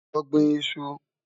Lọ́ gbìn ìṣù.